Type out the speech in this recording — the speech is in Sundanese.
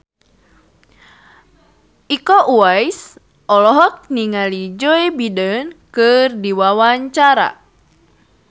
Iko Uwais olohok ningali Joe Biden keur diwawancara